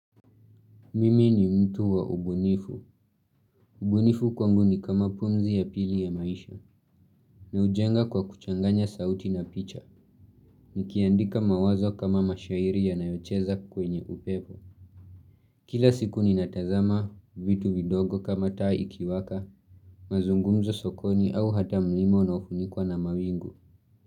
Mimi ni mtu wa ubunifu. Ubunifu kwangu ni kama pumzi ya pili ya maisha. Na hujenga kwa kuchanganya sauti na picha. Nikiandika mawazo kama mashairi yanayocheza kwenye upepo. Kila siku ninatazama vitu vidogo kama taa ikiwaka, mazungumzo sokoni au hata mlima unaofunikwa na mawingu.